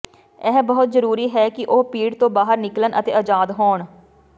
ਇਹ ਬਹੁਤ ਜ਼ਰੂਰੀ ਹੈ ਕਿ ਉਹ ਭੀੜ ਤੋਂ ਬਾਹਰ ਨਿਕਲਣ ਅਤੇ ਆਜ਼ਾਦ ਹੋਣ